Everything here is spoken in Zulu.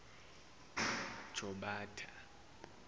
jobatha